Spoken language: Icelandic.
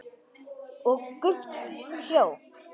Og Gump hljóp!